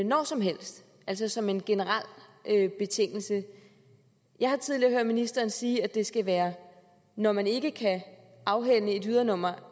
når som helst altså som en generel betingelse jeg har tidligere hørt ministeren sige at det skal være når man ikke kan afhænde et ydernummer